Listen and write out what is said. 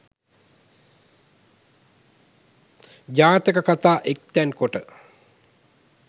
ජාතක කතා එක්තැන් කොට